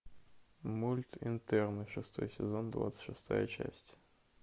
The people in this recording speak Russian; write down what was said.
мульт интерны шестой сезон двадцать шестая часть